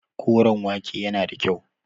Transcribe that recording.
Koren wake yana da kyau.